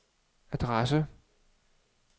adresse